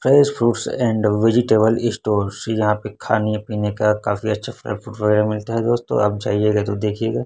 Fresh fruits and vegetable store से यहां पे खाने पीने का काफी अच्छा सा वैगरा मिलता है दोस्तों आप जाइएगा तो देखिएगा।